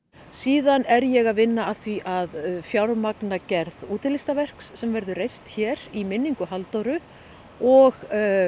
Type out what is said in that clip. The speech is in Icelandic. síðan er ég að vinna að því að fjármagna gerð sem verður reist hér í minningu Halldóru og